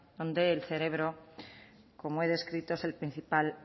donde el cerebro como he descrito es el principal